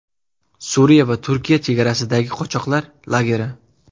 Suriya va Turkiya chegarasidagi qochoqlar lageri.